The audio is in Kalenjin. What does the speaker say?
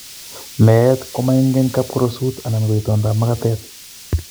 Meet komaingen kapkorosut anan ko itondab makatet.